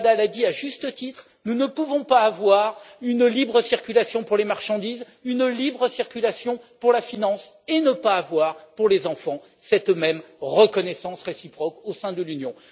Cavada l'a dit à juste titre, nous ne pouvons pas avoir une libre circulation pour les marchandises, une libre circulation pour la finance et ne pas avoir, pour les enfants, cette même reconnaissance réciproque au sein de l'Union.